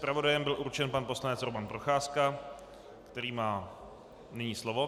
Zpravodajem byl určen pan poslanec Roman Procházka, který má nyní slovo.